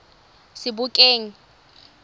sebokeng